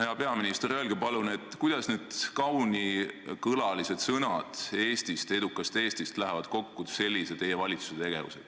Hea peaminister, öelge palun, kuidas kaunikõlalised sõnad edukast Eestist lähevad kokku teie valitsuse sellise tegevusega.